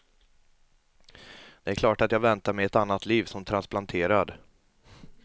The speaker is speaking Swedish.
Det är klart att jag väntar mig ett annat liv som transplanterad.